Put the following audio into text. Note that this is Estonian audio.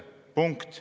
Punkt.